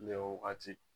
Ne wagati